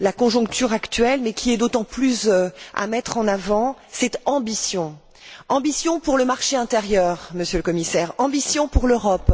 la conjoncture actuelle, mais qui est d'autant plus à mettre en avant, c'est ambition ambition pour le marché intérieur, Monsieur le Commissaire, ambition pour l'Europe,